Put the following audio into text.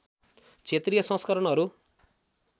क्षेत्रीय संस्करणहरू